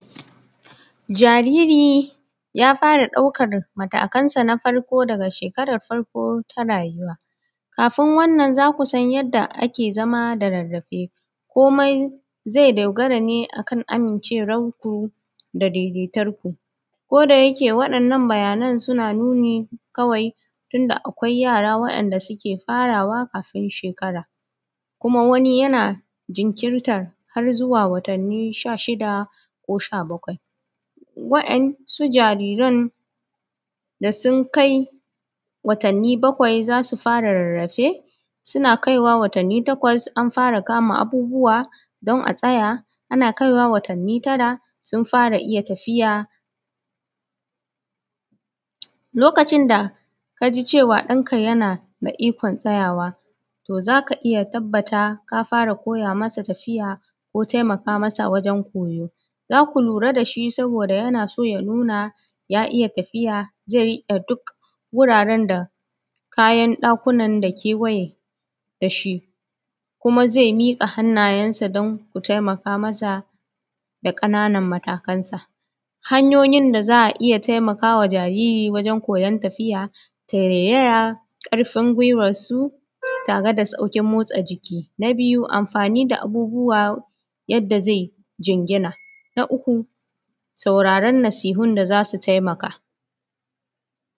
jariri ya fara ɗaukar matakansa na farko daga shekarar farko ta rayuwa kafin wannan zaku san yadda ake zama da rarrafe komi zai dogara ne a kan amincewar yar kuka da daidaitar ku ko da yake waɗannan bayyanan suna nuni kawai tun da ˀakwai yara wanda suke farawa kafin shekara kuma wani yana jinkirta har zuwa watanni: sha shida ko sha bakwai wa`yansu jariran da sun kai watanni bakwai zasu fara rarrafe suna kaiwa watanni takwas an fara kama abubuwa don a tsaya ana kaiwa watanni tara sun fara iya tafiya lokacin da kaji cewa ɗanka yana da ikon tsayawa to zaka iya tabata ka fara koya masa tafiya ko taimaka masa wajen koyo za ku lura saboda yana so ya nuna ya iya tafiya zai riƙe duk wuraren da kayan da kuma kewaye da shi kuma zai miƙa hannayensa don ku taimaka masa da ƙananan matakansa hanyoyin da zai iya taimakawa jarirai da ji wajen koyon tafiya tarairaya karfa gwiwansu tare da saukin motsa jiki na biyu amfani da abubuwa yadda zai je ya jinjina na uku sauraran na sunun da zasu taimaka